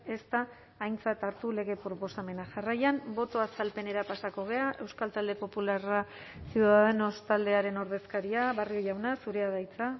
ez da aintzat hartu lege proposamena jarraian boto azalpenera pasako gara euskal talde popularra ciudadanos taldearen ordezkaria barrio jauna zurea da hitza